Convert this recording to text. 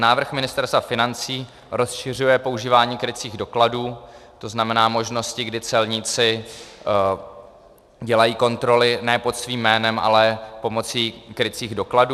Návrh Ministerstva financí rozšiřuje používání krycích dokladů, to znamená možnosti, kdy celníci dělají kontroly ne pod svým jménem, ale pomocí krycích dokladů.